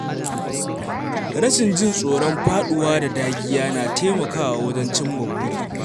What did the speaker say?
Rashin jin tsoron faɗuwa da dagiya na taimakawa wajen cimma buri.